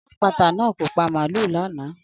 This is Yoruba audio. Alálata náà kò pa màlúù lanaa